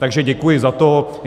Takže děkuji za to.